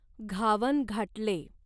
घावन घाटले